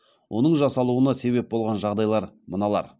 оның жасалуына себеп болған жағдайлар мыналар